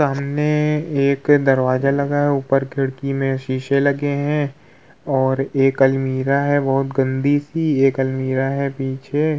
सामने एक दरवाजा लगा है ऊपर खिड़की में शीशे लगे है और एक अलमीरा है बहुत गन्दी सी एक अलमीरा है पीछे --